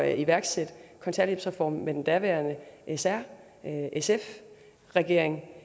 iværksætte kontanthjælpsreformen sammen med den daværende s r sf regering